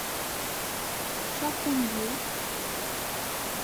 шахуньей